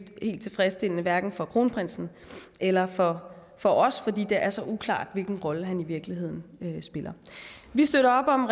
helt tilfredsstillende hverken for kronprinsen eller for for os fordi det er så uklart hvilken rolle han i virkeligheden spiller vi støtter op om